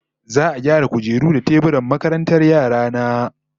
Za'a gyara kujeru da teburan makarantar yara na